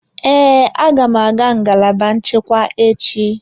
Ee, aga m aga ngalaba nchekwa echi.